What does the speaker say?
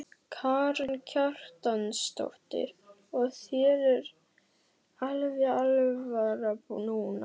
Karen Kjartansdóttir: Og þér er alveg alvara núna?